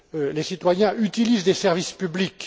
Les citoyens utilisent des services publics.